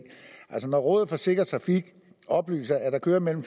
altså rådet for sikker trafik oplyser at der kører mellem